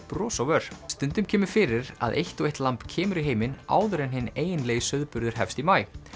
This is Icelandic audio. bros á vör stundum kemur fyrir að eitt og eitt lamb kemur í heiminn áður en hinn eiginlegi sauðburður hefst í maí